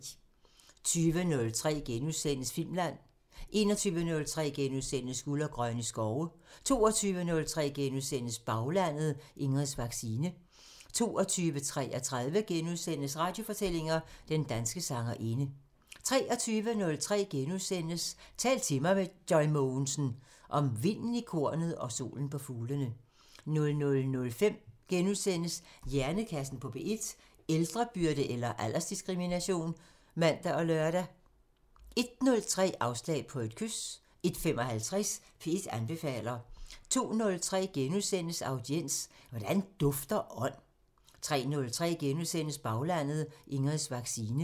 20:03: Filmland *(man) 21:03: Guld og grønne skove * 22:03: Baglandet: Ingrids vaccine * 22:33: Radiofortællinger: Den danske sangerinde * 23:03: Tal til mig – Joy Mogensen: Om vinden i kornet og solen på fuglene * 00:05: Hjernekassen på P1: Ældrebyrde eller aldersdiskrimination? *(man og lør) 01:03: Afslag på et kys 01:55: P1 anbefaler 02:03: Audiens: Hvordan dufter ånd? * 03:03: Baglandet: Ingrids vaccine *